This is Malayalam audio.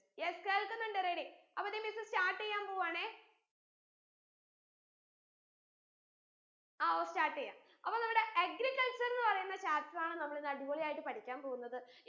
yes കേള്‍ക്കുന്നുണ്ട് ready അപ്പോ ദേ miss start യ്യാൻ പോവാണേ ആ ഓ start യ്യാം അപ്പോ നമ്മടെ agriculture ന്ന് പറീന്ന chapter ആണ് നമ്മൾ ഇന്ന് അടിപൊളിയായിട്ട് പഠിക്കാൻ പോന്നത്